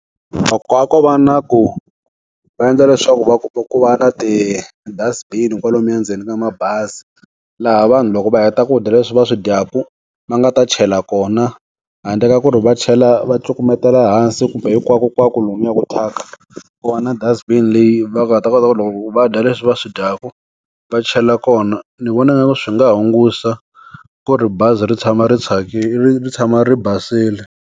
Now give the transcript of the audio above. Loko a ko va na ku, va endla leswaku va ku va na ti dustbin kwalomuya ndzeni ka mabazi. Laha vanhu loko va heta ku dya leswi va swi dyaku, va nga ta chela kona. Handle ka ku ri va chela va cukumetela hansi kumbe hinkwakonkwako lomuya ku thyaka. Ku va na dust bin leyi va nga ta kota ku loko va dya leswi va swi dyaku va chela kona. Ni vona swi nga hunguta ku ri bazi ri tshama ri tshama ri basile.